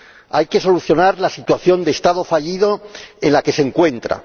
Hay que solucionar la situación de Estado fallido en la que se encuentra.